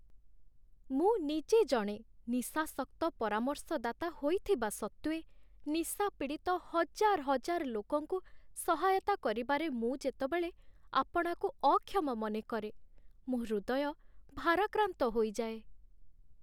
ମୁଁ ନିଜେ ଜଣେ ନିଶାସକ୍ତ ପରାମର୍ଶଦାତା ହୋଇଥିବା ସତ୍ତ୍ୱେ, ନିଶା ପୀଡ଼ିତ ହଜାର ହଜାର ଲୋକଙ୍କୁ ସହାୟତା କରିବାରେ ମୁଁ ଯେତେବେଳେ ଆପଣାକୁ ଅକ୍ଷମ ମନେକରେ, ମୋ ହୃଦୟ ଭାରାକ୍ରାନ୍ତ ହୋଇଯାଏ।